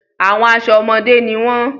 Àwọn aṣọ ọmọde ni wọn.